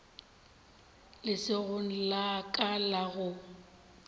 letsogong la ka la go